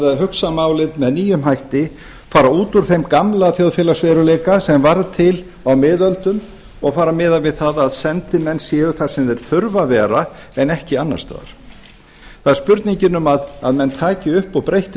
að hugsa málið með nýjum hætti fara út úr þeim gamla þjóðfélagsveruleika sem varð til á miðöldum og fara að miða við það að sendimenn séu þar sem þeir þurfa að vera en ekki annars staðar það er spurningin um að menn taki upp breytt